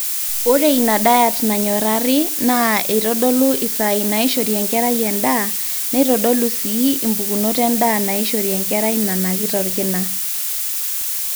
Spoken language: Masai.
ore ina diet nanyorrari naa eitodolu isaai naaishori enkerai endaa neitodolu sii impukunot endaa naaishori enkerai nanakita orkina